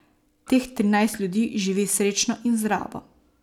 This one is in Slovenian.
Teh trinajst ljudi živi srečno in zdravo.